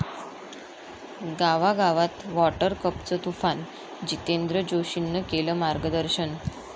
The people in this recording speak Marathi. गावागावात 'वाॅटर कप'चं तुफान, जितेंद्र जोशीनं केलं मार्गदर्शन